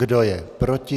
Kdo je proti?